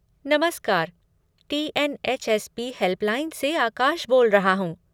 नमस्कार! TNHSP. Helpline से आकाश बोल रहा हूँ।